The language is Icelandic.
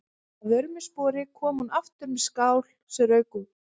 Að vörmu spori kom hún aftur með skál sem rauk úr.